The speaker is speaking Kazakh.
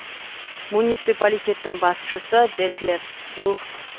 муниципалитеттің басшысы детлеф лухт